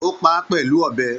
O pá a pẹlú ọ̀bẹ.